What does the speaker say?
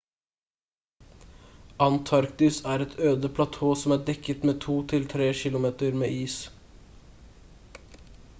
antarktis er et øde platå som er dekket med to til tre kilometer med is